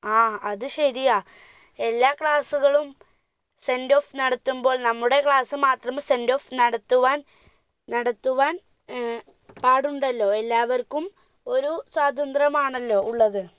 ആ അത് ശരിയാ എല്ലാ sendoff നടത്തുമ്പോൾ നമ്മുടെ class മാത്രം sendoff നടത്തുവാൻ നടത്തുവാൻ ഏർ പാടുണ്ടല്ലോ എല്ലാവർക്കും ഒരു സ്വാതത്ര്യം ആണല്ലോ ഉള്ളത്